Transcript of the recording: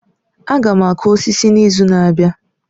Aga m akụ osisi n'izu na-abịa